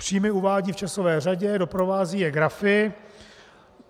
Příjmy uvádí v časové řadě, doprovází je grafy.